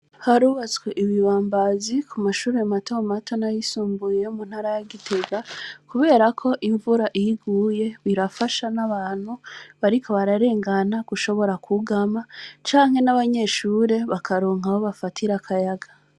Harubatswe ibibambazi ku mashure mato mato n' ayisumbiye yo mu ntara ya Gitega, kubera ko imvura iyo iguye, birafasha n' abantu bariko bararengana gushobora kwugama, canke n' abanyeshure bakaronka aho bafatira akayaga.